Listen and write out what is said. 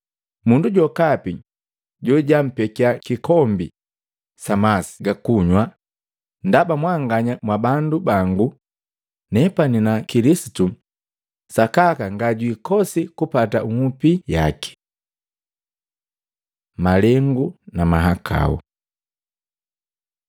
Mundu jokapi jojampekya kikombi sa masi ga kunywa, ndaba mwanganya mwa bandu bangu nepana na Kilisitu sakaka ngajwikosi kupata nhupi yake.” Malengu na mahakau Matei 18:6-9; Luka 17:1, 2